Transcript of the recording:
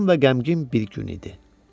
Tutqun və qəmgin bir gün idi.